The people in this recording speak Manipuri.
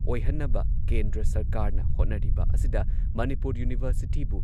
ꯑꯣꯏꯍꯟꯅꯕ ꯀꯦꯟꯗ꯭ꯔ ꯁꯔꯀꯥꯔꯅ ꯍꯣꯠꯅꯔꯤꯕ ꯑꯁꯤꯗ ꯃꯅꯤꯄꯨꯔ ꯌꯨꯅꯤꯚꯔꯁꯤꯇꯤꯕꯨ